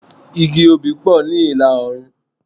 Igi obì pọ̀ ní ìlà-oòrùn.